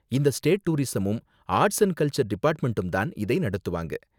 இந்த ஸ்டேட் டூரிஸமும் arts and culture டிபார்ட்மெண்டும் தான் இதை நடத்துவாங்க.